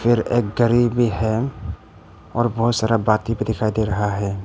फिर एक घड़ी है और बहोत सारा बाती भी दिखाई दे रहा है।